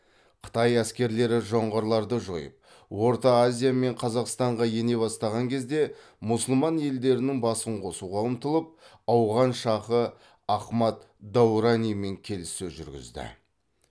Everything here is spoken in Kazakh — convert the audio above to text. қытай әскерлері жоңғарларды жойып орта азия мен қазақстанға ене бастаған кезде мұсылман елдерінің басын қосуға ұмтылып ауған шаһы ахмад дауранимен келіссөз жүргізді